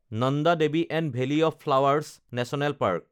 Nanda Devi and valley of flowers national parks